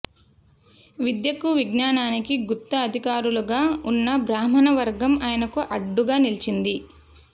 విద్యకు విజ్ఞానానికి గుత్త అధికారులుగా ఉన్న బ్రాహ్మణ వర్గం ఆయనకు అడ్డుగా నిలిచింది